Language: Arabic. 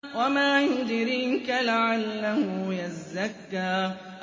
وَمَا يُدْرِيكَ لَعَلَّهُ يَزَّكَّىٰ